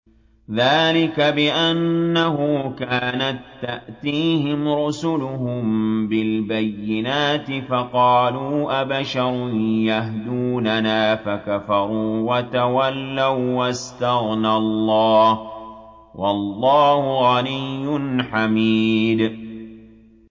ذَٰلِكَ بِأَنَّهُ كَانَت تَّأْتِيهِمْ رُسُلُهُم بِالْبَيِّنَاتِ فَقَالُوا أَبَشَرٌ يَهْدُونَنَا فَكَفَرُوا وَتَوَلَّوا ۚ وَّاسْتَغْنَى اللَّهُ ۚ وَاللَّهُ غَنِيٌّ حَمِيدٌ